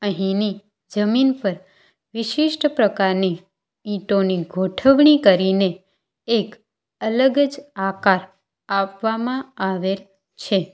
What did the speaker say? અહીંની જમીન પર વિશિષ્ટ પ્રકારની ઈંટોની ગોઠવણી કરીને એક અલગ જ આકાર આપવામાં આવે છે.